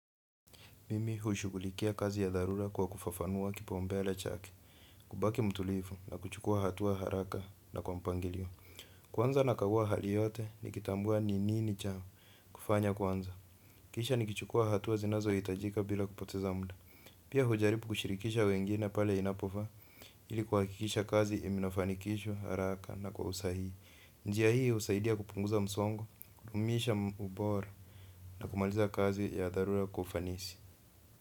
Mimi hushughulikia kazi za dharura kwa kufafanua kipaumbele chake kubaki mtulivu na kuchukua hatua haraka na kwa mpangilio. Kwanza nakagua hali yote nikitambua ni nini cha kufanya kwanza. Kisha nikichukua hatua zinazohitajika bila kupoteza mda. Pia hujaribu kushirikisha wengine pale inapofaa ili kuhakikisha kazi inafanikishwa haraka na kwa usahihi. Njia hii husaidia kupunguza msongo, kudumisha ubora na kumaliza kazi ya dharura kwa ufanisi.